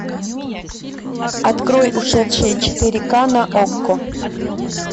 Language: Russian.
открой ушедшие четыре ка на окко